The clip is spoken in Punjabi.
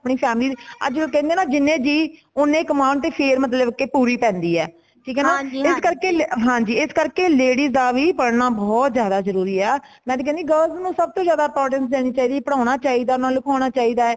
ਆਪਣੀ family ਚ ,ਅੱਜ ਉਹ ਕੇਂਦੇ ਨਾ ਜਿੰਨੇ ਜਿਹ ਓਨ੍ਹੇ ਹੀ ਕਮਾਨ ਤੇ ਫੇਰ ਮਤਲਬ ਕੀ ਪੂਰੀ ਪੈਂਦੀ ਹੇ ਠੀਕ ਹੇ ਨਾ ਇਸ ਕਰਕੇ ਹਾਂਜੀ ਇਸ ਕਰਕੇ ladies ਦਾ ਵੀ ਪੜਨਾ ਬਹੁਤ ਜ਼ਿਆਦਾ ਜਰੂਰੀ ਹੈ ਮੈਂ ਤੇ ਕੇਂਦੀ girls ਨੂੰ ਸਬਤੋਂ ਜ਼ਿਆਦਾ importance ਦੇਨਿ ਚਾਹੀਦੀ ਹੇ ਪੜੋਨਾ ਚਾਹੀਦਾ ਉਨ੍ਹਾਂਨੂੰ ਲਿਖਾਉਣਾ ਚਾਹੀਦਾ